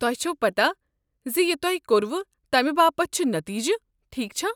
تۄہہ چھوٕ پتاہ زِ یہ تۄہہ کوٚروٕ تمہِ باپت چھِ نتیجہِ ، ٹھیكھ چھا ۔